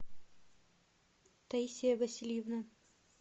таисия васильевна